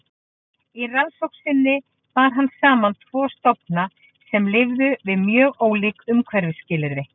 Í rannsókn sinni bar hann saman tvo stofna sem lifðu við mjög ólík umhverfisskilyrði.